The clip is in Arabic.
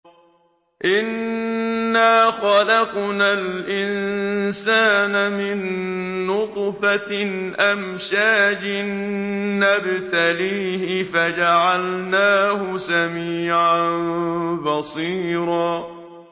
إِنَّا خَلَقْنَا الْإِنسَانَ مِن نُّطْفَةٍ أَمْشَاجٍ نَّبْتَلِيهِ فَجَعَلْنَاهُ سَمِيعًا بَصِيرًا